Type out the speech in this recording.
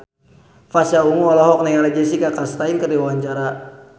Pasha Ungu olohok ningali Jessica Chastain keur diwawancara